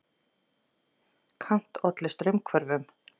Kant olli straumhvörfum.